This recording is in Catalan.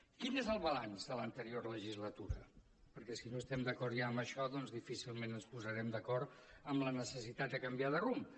quin és el balanç de l’anterior legislatura perquè si no estem d’acord ja amb això doncs difícilment ens posarem d’acord amb la necessitat de canviar de rumb